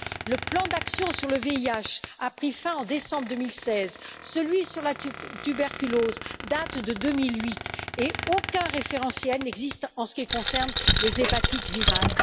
Le plan d'action sur le VIH a pris fin en décembre 2016, celui sur la tuberculose date de 2008 et aucun référentiel n'existe en ce qui concerne les hépatites virales.